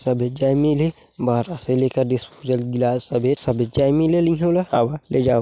सभी जाई मिल्ही बारा से लेके डिस्पोजल ग्लास हवै सभी जाई मिलेही ओला आवा ले जावा।